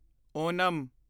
Onam